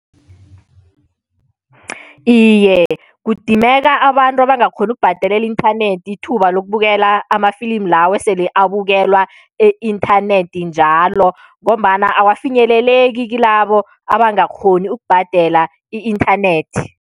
Iye, kudimeka abantu abangakghoni ukubhadelela i-inthanethi ithuba lokubukela amafilimu lawo esele abukelwa e-inthanethi njalo ngombana awafinyeleleki kilabo abangakghoni ukubhadela i-inthanethi.